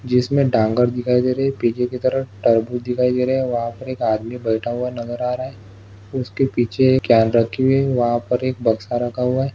जिसमे डांगर दिखाई दे रही है पीछे की तरफ तरबूज दिखाई दे रहा है वह पर एक आदमी बैठा हुआ नजर आ रहा है उसके पीछे एक क्यान रखी हुई है वहा पर एक बक्सा रखा हुआ है।